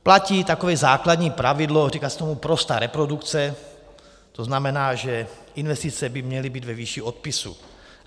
Platí takové základní pravidlo, říká se tomu prostá reprodukce, to znamená, že investice by měly být ve výši odpisů.